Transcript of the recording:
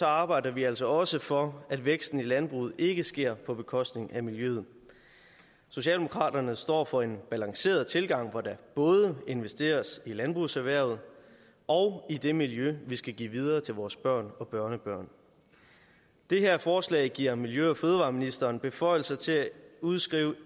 arbejder vi altså også for at væksten i landbruget ikke sker på bekostning af miljøet socialdemokraterne står for en balanceret tilgang hvor der både investeres i landbrugserhvervet og i det miljø vi skal give videre til vores børn og børnebørn det her forslag giver miljø og fødevareministeren beføjelser til at udskrive